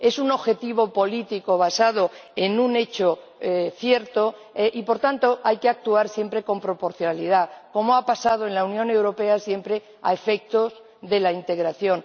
Es un objetivo político basado en un hecho cierto y, por tanto, hay que actuar siempre con proporcionalidad, como ha pasado en la Unión Europea siempre a efectos de la integración.